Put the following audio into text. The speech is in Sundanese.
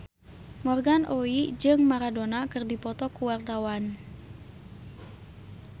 Morgan Oey jeung Maradona keur dipoto ku wartawan